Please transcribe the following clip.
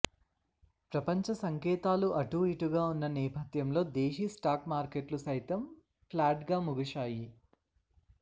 ప్రపంచ సంకేతాలు అటూఇటుగా ఉన్న నేపథ్యంలో దేశీ స్టాక్ మార్కెట్లు సైతం ఫ్లాట్గా ముగిశాయి